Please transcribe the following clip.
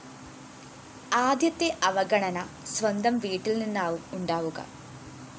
ആദ്യത്തെ അവഗണന സ്വന്തം വീട്ടില്‍ നിന്നാവും ഉണ്ടാവുക